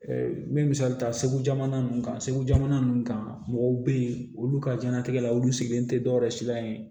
n bɛ misali ta segu jamana kan segu jamana ninnu kan mɔgɔw be yen olu ka jɛnatigɛ la olu sigilen tɛ dɔwɛrɛ silamɛ ye